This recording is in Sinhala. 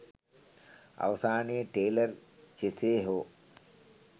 අවසානයේ ටේලර් කෙසේ හෝ